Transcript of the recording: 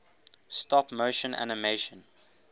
stop motion animation